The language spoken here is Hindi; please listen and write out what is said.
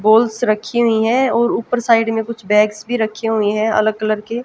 बॉल्स रखी हुई हैं और ऊपर साइड में कुछ बैग्स भी रखे हुए हैं अलग कलर के--